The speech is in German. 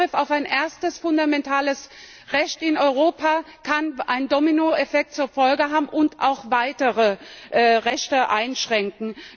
Denn der Angriff auf ein erstes fundamentales Recht in Europa kann einen Dominoeffekt zur Folge haben und auch weitere Rechte einschränken.